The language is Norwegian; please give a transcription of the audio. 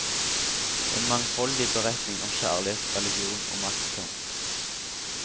En mangfoldig beretning om kjærlighet, religion og maktkamp.